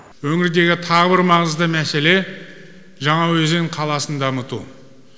өңірдегі тағы бір маңызды мәселе жаңаөзен қаласын дамыту